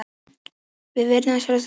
Við virðum sjálfstæði Pakistans